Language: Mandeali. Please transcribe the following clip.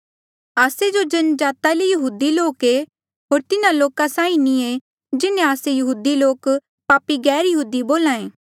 आस्से जो जन्मजाता ले यहूदी लोक ऐे होर तिन्हा लोका साहीं नी ऐें जिन्हें आस्से यहूदी लोक पापी गैरयहूदी बोल्हे